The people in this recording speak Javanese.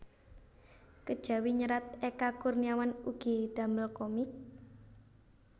Kejawi nyerat Eka Kurniawan ugi damel komik